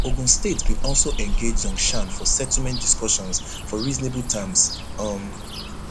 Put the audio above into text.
ogun state bin also engage zhongshan for settlement discussions for reasonable terms um